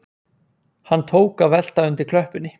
Hann tók að velta undir klöppinni